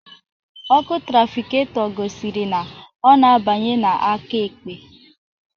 Ọkụ trafikato gosiri na ọ na abanye n'aka ekpe